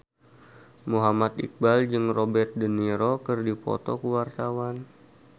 Muhammad Iqbal jeung Robert de Niro keur dipoto ku wartawan